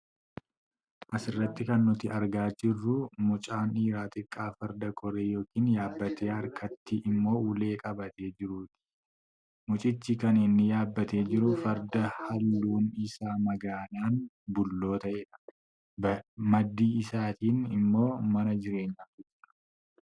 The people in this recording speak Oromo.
Asirratti kan nuti argaa jirru, mucaan dhiiraa xiqqaa Farda koree yookiin yaabbatee harkatti immoo ulee qabatee jiruuti. Mucichi kan inni yaabbatee jiru Farda haalluun isaa magaalan bulloo ta'eedha. Badii isaanitiin immoo Mana jireenyaatu jira.